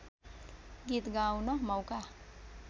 गीत गाउन मौका